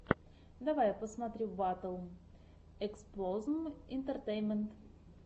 давай я посмотрю батл эксплозм интертеймент